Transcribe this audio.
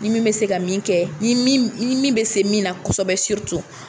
Ni min bɛ se ka min kɛ min bɛ se min na kosɛbɛ